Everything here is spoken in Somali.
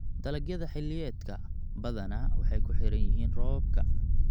Dalagyada xilliyeedka badanaa waxay ku xiran yihiin roobabka.